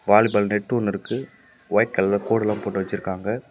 Volleyball net ஒன்னு இருக்கு white கலர்ல கோடுலா போட்டு வெச்சிருக்காங்க.